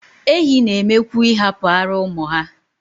Ehi n'eme kwu ihapu ara umu ha